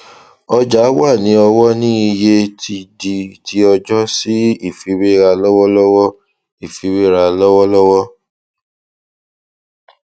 ọja wà ní ọwọ ní iye tí di tiọjọ sí ifiwera lọwọlọwọ ifiwera lọwọlọwọ